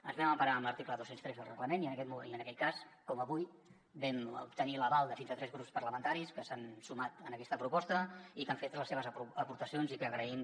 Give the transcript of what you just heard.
ens vam emparar en l’article dos cents i tres del reglament i en aquest cas com avui vam obtenir l’aval de fins a tres grups parlamentaris que s’han sumat a aquesta proposta i que han fet les seves aportacions i que agraïm